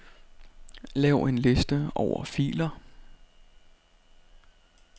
Lav en liste over filer.